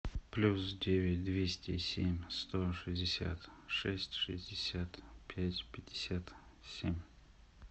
плюс девять двести семь сто шестьдесят шесть шестьдесят пять пятьдесят семь